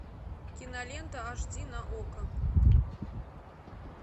кинолента аш ди на окко